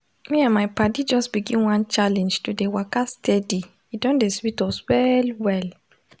me and my paddy just begin one challenge to dey waka steady e don dey sweet us well well.